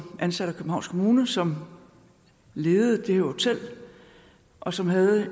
ansat af københavns kommune som ledede det hotel og som havde